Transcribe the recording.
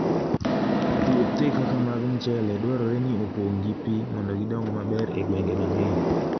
Puothe kaka mag mchele dwarore ni opong' gi pi mondo gidong maber e gwenge mang'eny.